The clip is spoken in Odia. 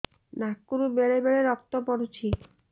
ନାକରୁ ବେଳେ ବେଳେ ରକ୍ତ ପଡୁଛି